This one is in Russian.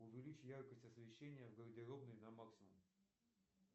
увеличь яркость освещения в гардеробной на максимум